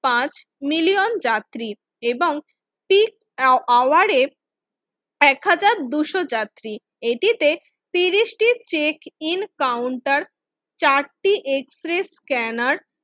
পাঁচ মিলিয়ন যাত্রী এবং সিক্স আওয়াের এক হাজার দুইশ যাত্রী এটিতে ত্রিশটি চেক ইন কাউন্টার চারটি এক্সপ্রেস স্ক্যানার